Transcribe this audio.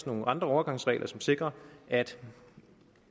nogle andre overgangsregler som sikrer at